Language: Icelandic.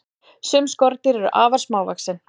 sum skordýr eru afar smávaxin